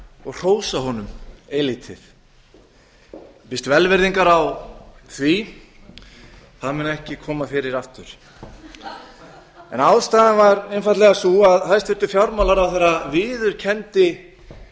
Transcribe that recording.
og hrósa honum eilítið ég biðst velvirðingar á því það mun ekki koma fyrir aftur ástæðan var einfaldlega sú að hæstvirtur fjármálaráðherra viðurkenndi